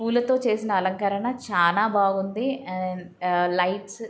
పులా తో చేసిన లంకారణ చాల బాగుంది. అండ్ ఆ లైట్స్ --